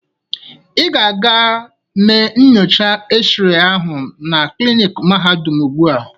Ị ga-aga mee nyocha x-ray ahụ na kliniki mahadum ugbu a!